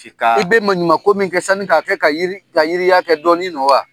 I bɛ maɲuman ko min kɛ sanni ka kɛ ka yiri ka yiriyali kɛ dɔɔni don wa?